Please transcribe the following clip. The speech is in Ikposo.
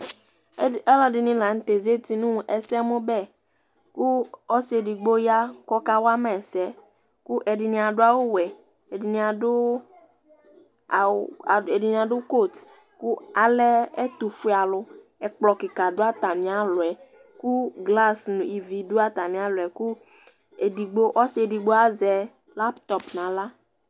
ɛd, ɔlɔdini la n'tɛ zati nʋ ɛsɛmʋ bɛ, kʋ ɔsi edigbo ya k'ɔkawa ma ɛsɛ kʋ ɛdini adʋ awʋ wɛ, ɛdini adʋ coat kʋ alɛ ɛtʋfue alʋ, akplɔ kika dʋ atami alɔ yɛ kʋ glace nʋ ivi dʋ atami alɔ yɛ kʋ edigbo, ɔsi edigbo azɛ laptɔp n'aɣla